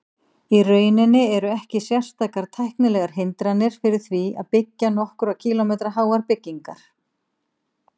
Í rauninni eru ekki sérstakar tæknilegar hindranir fyrir því að byggja nokkurra kílómetra háar byggingar.